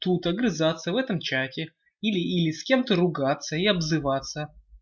тут огрызаться в этом чате или с кем-то ругаться и обзываться